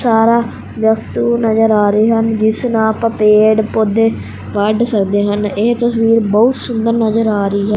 ਤਾਰਾਂ ਵਸਤੂ ਨਜ਼ਰ ਆ ਰਹੇ ਹਨ ਜਿਸ ਨਾਲ ਆਪਾਂ ਪੇਡ ਪੌਦੇ ਵਡ ਸਕਦੇ ਹਨ ਇਹ ਤਸਵੀਰ ਬਹੁਤ ਸੁੰਦਰ ਨਜ਼ਰ ਆ ਰਹੀ ਹੈ।